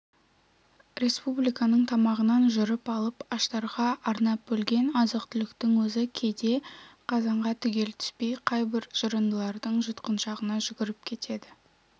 республиканың тамағынан жырып алып аштарға арнап бөлген азық-түліктің өзі кейде қазанға түгел түспей қайбір жырындылардың жұтқыншағына жүгіріп кетеді